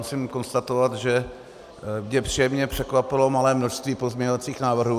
Musím konstatovat, že mě příjemně překvapilo malé množství pozměňovacích návrhů.